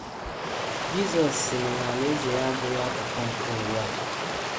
Jizọs sịrị na Alaeze ya abụghị akụkụ nke ụwa a